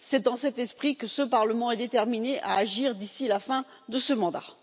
C'est dans cet esprit que ce Parlement est déterminé à agir d'ici la fin de son mandat.